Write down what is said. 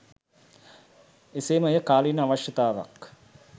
එසේම එය කාලීන අවශ්‍යතාවක්